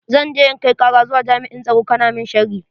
Zan je in kai kara zuwa jami'an tsaro kana mun sharri.